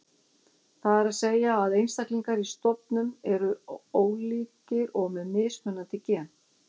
Það er að segja að einstaklingar í stofnum eru ólíkir og með mismunandi gen.